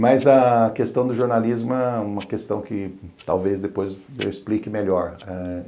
Mas a questão do jornalismo é uma questão que talvez depois eu explique melhor.